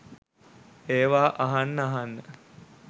ඒවා අහන්න අහන්න